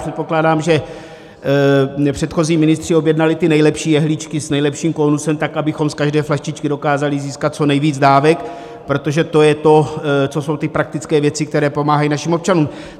Předpokládám, že předchozí ministři objednali ty nejlepší jehličky s nejlepším kónusem, tak abychom z každé flaštičky dokázali získat co nejvíc dávek, protože to je to, to jsou ty praktické věci, které pomáhají našim občanům.